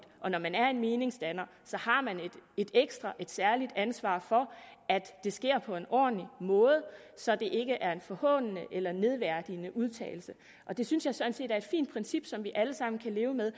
og når man er meningsdanner har man et ekstra og særligt ansvar for at det sker på en ordentlig måde så det ikke er en forhånende eller nedværdigende udtalelse det synes jeg sådan set er et fint princip som vi alle sammen kan leve med